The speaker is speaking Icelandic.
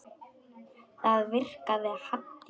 Það virkaði Haddý.